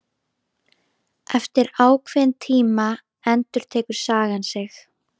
Eftir ákveðinn tíma endurtekur sagan sig.